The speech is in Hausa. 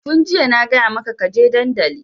Tun jiya na gaya maka ka je dandali!